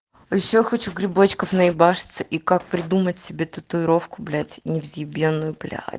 ещё хочу грибочков на ебашиться и как придумать себе татуировку блять невзъебенную блять